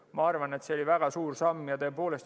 Ma arvan, et see oli väga suur samm.